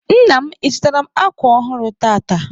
Nna m, ị zụtaara m akwa ọhụrụ tata?